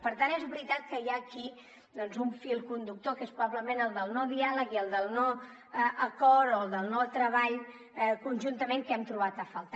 per tant és veritat que hi ha aquí doncs un fil conductor que és probablement el del no diàleg i el del no acord o del no treball conjuntament que hem trobat a faltar